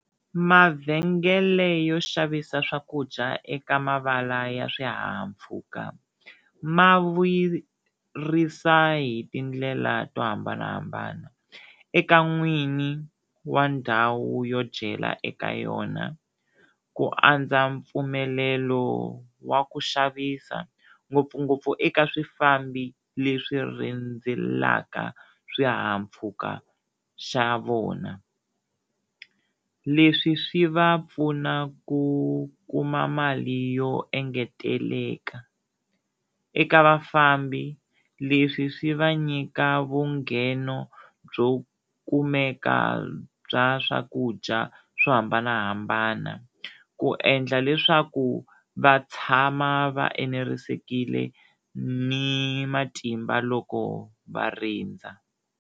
Mavhengele yo xavisa swakudya eka mavala ya swihahampfhuka ma vuyerisa hi tindlela to hambanahambana eka n'wini wa ndhawu yo dyela eka yona, ku andza mpfumelelo wa ku xavisa ngopfungopfu eka swifambi leswi rhendzeleka swihahampfhuka xa vona, leswi swi va pfuna ku kuma mali yo engeteleka, eka vafambi leswi swi va nyika vungheno byo kumeka bya swakudya swo hambanahambana ku endla leswaku va tshama va enerisekile ni matimba loko va rindza.